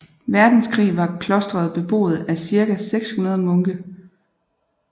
Verdenskrig var klostret beboet af cirka 600 munke